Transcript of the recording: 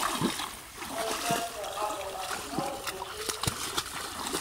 трансляция апл арсенал манчестер сити